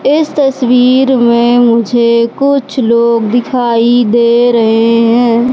इस तस्वीर में मुझे कुछ लोग दिखाई दे रहे हैं।